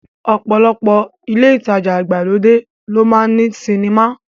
Ọ̀pọ̀lọpọ̀ ilé ìtajà ìgbàlódé ló máa ń ní sinimá